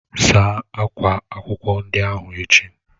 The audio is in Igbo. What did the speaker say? Saa akwa akwụkwọ ndị ahụ echi!